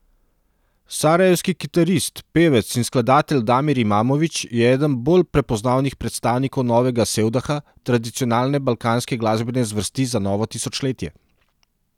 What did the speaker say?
Sarajevski kitarist, pevec in skladatelj Damir Imamović je eden bolj prepoznavnih predstavnikov novega sevdaha, tradicionalne balkanske glasbene zvrsti za novo tisočletje.